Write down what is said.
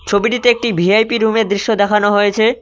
ছবিটিতে একটি ভি_আই_পি রুমের দৃশ্য দেখানো হয়েছে।